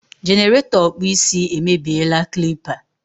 jenerato okpu isi e me bie la clipa